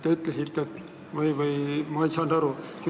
Ma ei saanud hästi aru.